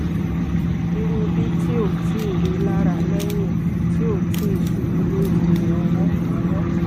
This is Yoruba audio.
iru bi ti o ti rilara lẹhin ti o ti ṣubu lori rẹ ọwọ ọwọ